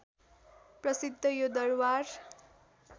प्रसिद्ध यो दरबार